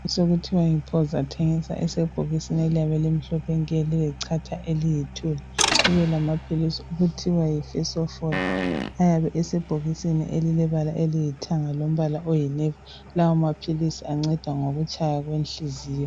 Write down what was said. Sokuthiwa yiPhozi athengiswa esebhokisini eliyabe limhlophe nke lilechatha eliyithu. Kubelama philisi okuthwa yiFesofoli ayabe esebhokisini elebala eliyithanga lombala oyinevi. Lawa maphilisi anceda ngokutshaya kwenhliziyo.